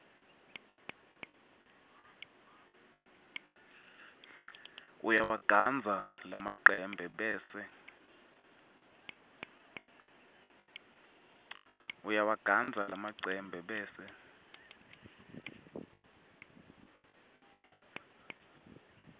uyawagandza lamacembe bese